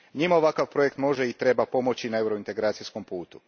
Njima ovakav projekt može i treba pomoći na eurointegracijskom putu.